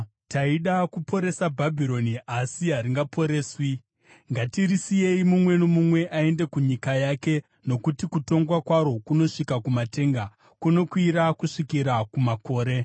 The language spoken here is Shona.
“ ‘Taida kuporesa Bhabhironi, asi haringaporeswi; ngatirisiyei mumwe nomumwe aende kunyika yake, nokuti kutongwa kwaro kunosvika kumatenga, kunokwira kusvikira kumakore.’